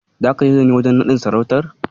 Zaka je da ni wajen naɗin sarautar?